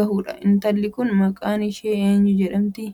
gahuudha. intalli Kun maqaan ishee eenyuu jedhamti?